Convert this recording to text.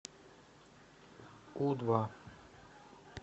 у два